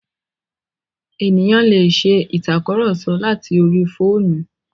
Ènìyàn lè ṣe ìtàkurọ̀sọ láti orí fóònù.